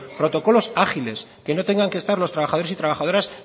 protocolos ágiles que no tengan que estar los trabajadores y trabajadoras